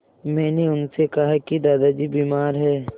मैंने उनसे कहा कि दादाजी बीमार हैं